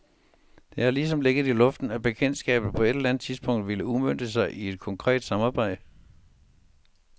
Det har ligesom ligget i luften, at bekendtskabet på et eller andet tidspunkt ville udmønte sig i et konkret samarbejde.